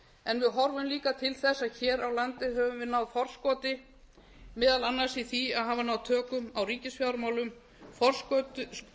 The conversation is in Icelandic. en við horfum líka til þess að hér á landi höfum við náð forskoti meðal annars í því að hafa náð tökum á ríkisfjármálum forskoti